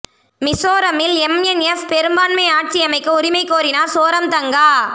மிசோரமில் எம்என்எப் பெரும்பான்மை ஆட்சியமைக்க உரிமை கோரினார் சோரம் தங்கா